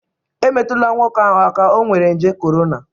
emetụla nwoke ahụ aka, o nwere nje corona!